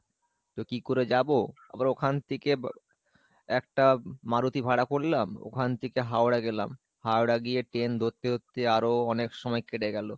তো কি করে যাবো, আবার ওখান থেকে একটা মারতি ভাড়া করলাম ওখান থেকে হাওড়া গেলাম, হাওড়া গিয়ে train ধরতে ধরতে আরও অনেক সময় কেটে গেলো,